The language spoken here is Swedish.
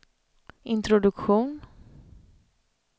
introduktion